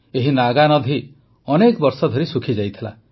ଏହି ନାଗାନଧି ଅନେକ ବର୍ଷ ଧରି ଶୁଖିଯାଇଥିଲା